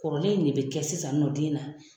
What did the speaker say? Kɔrɔlen in de bɛ kɛ sisan nɔ den na